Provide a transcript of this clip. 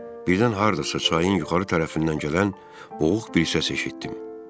Birdən hardasa çayın yuxarı tərəfindən gələn boğuq bir səs eşitdim.